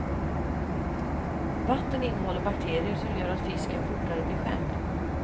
Vatten innehåller bakterier som gör att fisken fortare blir skämd.